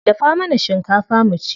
Dafa mana shinkafa mu ci.